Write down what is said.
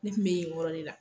Ne tun bɛ o yɔrɔ de la